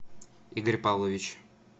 игорь павлович